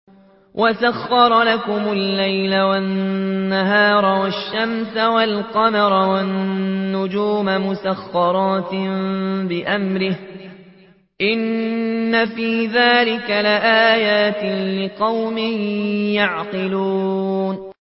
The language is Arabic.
وَسَخَّرَ لَكُمُ اللَّيْلَ وَالنَّهَارَ وَالشَّمْسَ وَالْقَمَرَ ۖ وَالنُّجُومُ مُسَخَّرَاتٌ بِأَمْرِهِ ۗ إِنَّ فِي ذَٰلِكَ لَآيَاتٍ لِّقَوْمٍ يَعْقِلُونَ